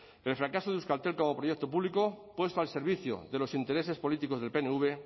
pero el fracaso de euskaltel como proyecto público puesto al servicio de los intereses políticos del pnv